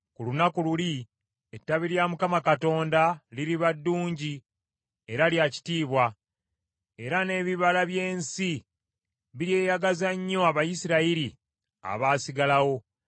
Ku lunaku luli ettabi lya Mukama Katonda liriba ddungi era lya kitiibwa, era n’ebibala by’ensi biryeyagaza nnyo Abayisirayiri abaasigalawo.